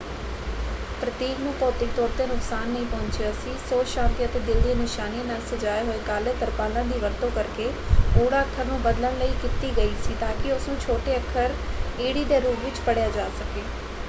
ਪ੍ਰਤੀਕ ਨੂੰ ਭੌਤਿਕ ਤੌਰ 'ਤੇ ਨੁਕਸਾਨ ਨਹੀਂ ਪਹੁੰਚਿਆ ਸੀ; ਸੋਧ ਸ਼ਾਂਤੀ ਅਤੇ ਦਿਲ ਦੀਆਂ ਨਿਸ਼ਾਨੀਆਂ ਨਾਲ ਸਜਾਏ ਹੋਏ ਕਾਲੇ ਤਰਪਾਲਾਂ ਦੀ ਵਰਤੋਂ ਕਰਕੇ ਓ ਅੱਖਰ ਨੂੰ ਬਦਲਣ ਲਈ ਕੀਤੀ ਗਈ ਸੀ ਤਾਂਕਿ ਉਸਨੂੰ ਛੋਟੇ ਅੱਖਰ ਈ ਦੇ ਰੂਪ ਵਿੱਚ ਪੜ੍ਹਿਆ ਜਾ ਸਕੇ।